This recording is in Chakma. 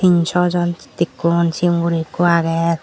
in swjon dekkung sigon guro ekku agey.